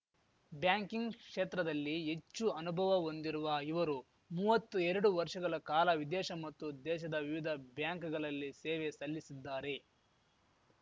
banking ಕ್ಷೇತ್ರದಲ್ಲಿ ಹೆಚ್ಚು ಅನುಭವ ಹೊಂದಿರುವ ಇವರು ಮುವ್ವತ್ತೆರಡು ವರ್ಷಗಳ ಕಾಲ ವಿದೇಶ ಮತ್ತು ದೇಶದ ವಿವಿಧ ಬ್ಯಾಂಕ್‌ಗಳಲ್ಲಿ ಸೇವೆ ಸಲ್ಲಿಸಿದ್ದಾರೆ